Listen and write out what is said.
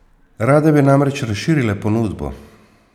Rade bi namreč razširile ponudbo.